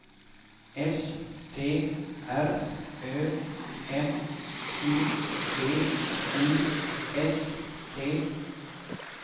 S T R Ö M Q V I S T